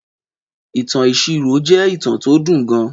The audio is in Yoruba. Ìtàn ìṣirò jẹ́ ìtàn tó dùn gan